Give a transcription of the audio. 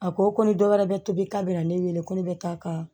A ko ko ni dɔ wɛrɛ bɛ tobi k'a bɛna ne wele ko ne bɛ taa ka